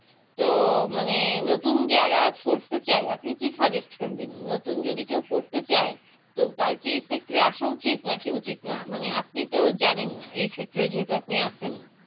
তো মানে নতুন যারা পড়তে চায় আপনি কি Suggest করবেন নতুন যদি কেউ পড়তে চায় তো তার কি এই Sector এ আসা উচিত নাকি উচিত না মানে আপনি তো জানেন এই Sector এ যেহেতু আপনি আছেন